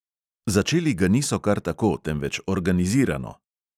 Začeli ga niso kar tako, temveč organizirano.